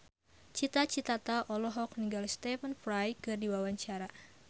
Cita Citata olohok ningali Stephen Fry keur diwawancara